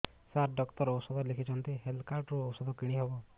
ସାର doctor ଔଷଧ ଲେଖିଛନ୍ତି health card ରୁ ଔଷଧ କିଣି ହେବ